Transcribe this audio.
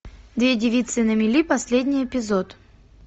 две девицы на мели последний эпизод